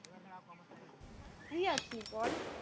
Free আছি বল।